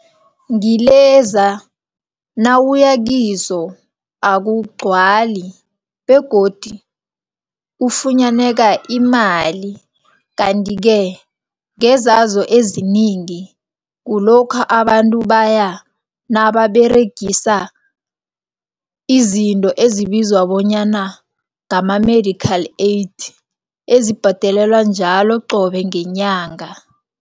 Ngileza nawuyakizo akugcwali begodu ufunyaneka imali. Kanti-ke ngezazo eziningi kulokha abantu baya nababeregisa izinto ezibizwa bonyana ngama-medical aid ezibhadelelwa njalo qobe ngenyanga